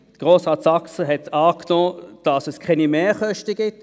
Grossrat Saxer hat angenommen, dass keine Mehrkosten entstehen.